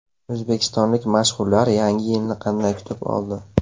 O‘zbekistonlik mashhurlar Yangi yilni qanday kutib oldi?